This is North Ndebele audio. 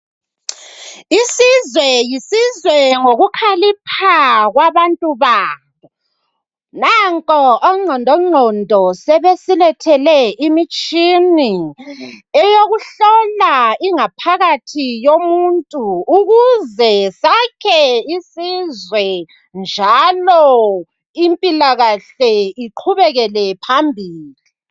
Isizwe yisizwe ngokukhalipha kwabantu baso. Nampo ongqondongqondo sebesilethele imitshini, eyokuhlola ingaphakathi yomuntu ukuze sakhe isizwe, njalo impilakahle iqhubekele phambili